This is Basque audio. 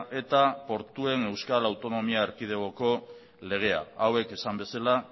eta portuen euskal autonomia erkidegoko legea hauek esan bezala